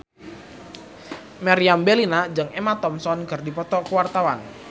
Meriam Bellina jeung Emma Thompson keur dipoto ku wartawan